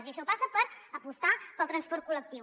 i això passa per apostar pel transport col·lectiu